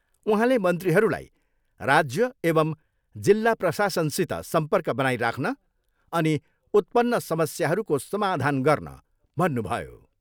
उहाँले मन्त्रीहरूलाई राज्य एवम् जिल्ला प्रशासनसित सम्पर्क बनाइराख्न अनि उत्पन्न समस्याहरूको समाधान गर्न भन्नुभयो।